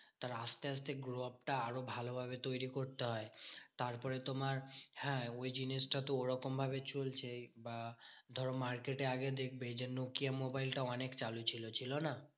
তার আসতে আসতে growup টা আরো ভালোভাবে তৈরী করতে হয়। তারপরে তোমার হ্যাঁ ওই জিনিসটা তো ওরকম ভাবে চলছেই বা ধরো market এ আগে দেখবে যে, নোকিয়া মোবাইল টা অনেক চালু ছিল, ছিল না?